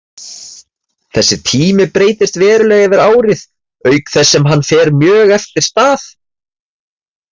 Þessi tími breytist verulega yfir árið auk þess sem hann fer mjög eftir stað.